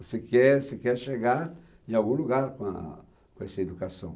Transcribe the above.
Você quer você chegar em algum lugar com a com essa educação.